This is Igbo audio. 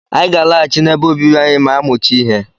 Anyị ga-alaghachi n'ebe obibi anyị ma a mụchaa ihe.